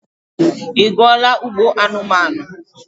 Ị gụọla Ugbo anumanu?